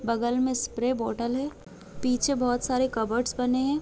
बगल में spray bottle है पीछे बहुत सारे कबर्डस बने हैं।